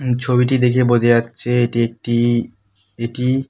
ছবিটি দেখে বোঝা যাচ্ছে এটি একটি এটি --